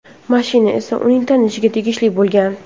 Mashina esa uning tanishiga tegishli bo‘lgan.